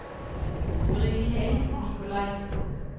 Brynhild Nicolaysen